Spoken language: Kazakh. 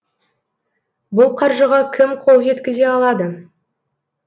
бұл қаржыға кім қол жеткізе алады